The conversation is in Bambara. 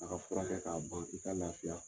A ka furakɛ k'a ban pewu f'i ka lafiya